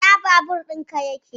Ina babur ɗin ka yake?